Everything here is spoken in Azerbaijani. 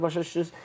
Başa düşdünüz?